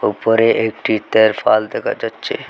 উপরে একটি তেরফল দেকা যাচ্চে।